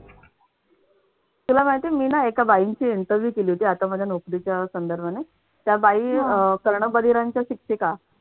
तुला माहितीये मी ना एका बाईंची interview केली होती आता माझ्या नोकरीच्या संदर्भाने. त्या बाई अह कर्णबधिरांच्या शिक्षिका.